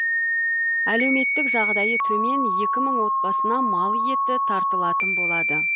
әлеуметтік жағдайы төмен екі мың отбасына мал еті таратылатын болады